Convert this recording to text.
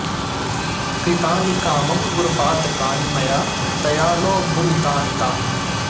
कृतानि कामं गुरुपातकानि मया दयालो भुवि तानि तानि